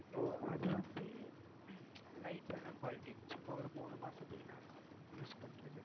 இப்போ அது வந்து light ஆனா quality சும்மா ஒரு மூணு மாசத்துக்கு நாலு மாசத்துக்கு use பன்றது.